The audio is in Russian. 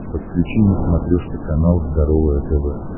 подключи на смотрешке канал здоровое тв